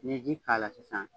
N'i ye ji k'a la sisan